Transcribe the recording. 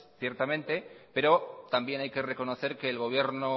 pero también hay que reconocer que el gobierno